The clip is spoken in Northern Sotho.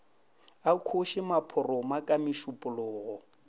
a khoše maphoroma ka mešupologo